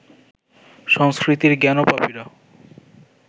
সংস্কৃতির জ্ঞানপাপীরা